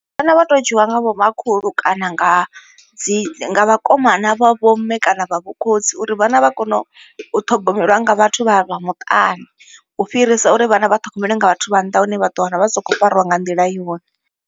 Vhana vha teo dzhiiwa nga vhomakhulu kana nga dzi nga vhakomana vha vho mme kana vha vho khotsi uri vhana vha kone u ṱhogomeliwa nga vhathu vha vha muṱani. U fhirisa uri vhana vha ṱhogomelwe nga vhathu vha nnḓa hune vha ḓo wana vha sa khou fariwa nga nḓila yone.